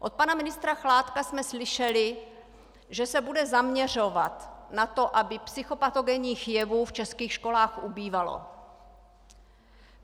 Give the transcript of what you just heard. Od pana ministra Chládka jsme slyšeli, že se bude zaměřovat na to, aby psychopatogenních jevů v českých školách ubývalo.